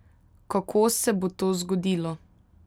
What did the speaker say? Kako se bo to zgodilo?